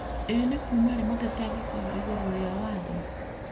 Ĩ nĩ kuma rĩ mũteti angĩkorwo ĩgũrũ rĩa watho?